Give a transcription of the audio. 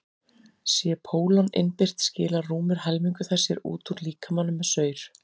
sé pólon innbyrt skilar rúmur helmingur þess sér út úr líkamanum með saur